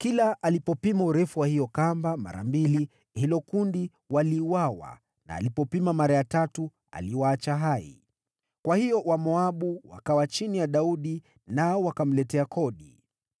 Kila alipopima urefu wa hiyo kamba mara mbili hilo kundi waliuawa na alipopima mara ya tatu aliwaacha hai. Kwa hiyo Wamoabu wakawa chini ya Daudi nao wakamletea kodi.